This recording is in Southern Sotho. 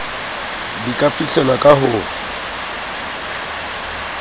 di ka fihlelwa ka ho